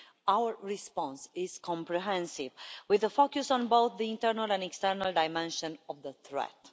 Our response is comprehensive, with a focus on both the internal and external dimension of the threat.